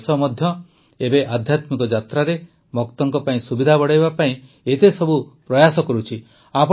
ତେଣୁ ଦେଶ ମଧ୍ୟ ଏବେ ଆଧ୍ୟାତ୍ମିକ ଯାତ୍ରାରେ ଭକ୍ତଙ୍କ ପାଇଁ ସୁବିଧା ବଢ଼ାଇବା ପାଇଁ ଏତେସବୁ ପ୍ରୟାସ କରୁଛି